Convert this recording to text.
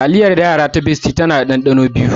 Taliyar yara ta bestie tana da ɗanɗano biyu na daɗi.